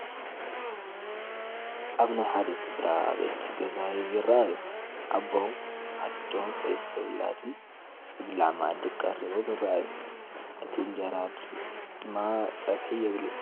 ኣብ ናይ ሓደ ስድራ ቤት ገዛ ይራኣዩ፡፡ ኣቦ፣ ኣዶን 3 ውላድን ዝብላዕ ማኣዲ ቀሪባም ይራኣዩ፡፡ እቲ እንጀራ ድማ ፀብሒ ዘይብሉ፡፡